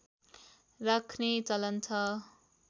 राख्ने चलन छ